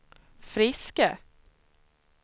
friska